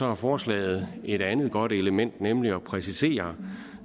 har forslaget et andet godt element nemlig at præcisere